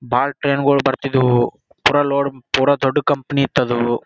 ಬಾಳ ಟ್ರೈನ್ ಗಳು ಬರ್ತಿದ್ದವು ಪುರ ಲೋಡ್ ಪುರ ದೊಡ್ಡ್ ಕಂಪನಿ ಇತ್ ಅದು .